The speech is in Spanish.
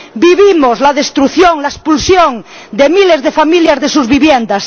vivimos la destrucción, la expulsión de miles de familias de sus viviendas